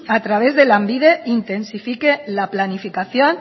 a través de lanbide intensifique la planificación